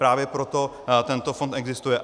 Právě proto tento fond existuje.